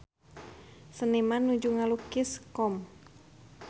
Seniman nuju ngalukis Qom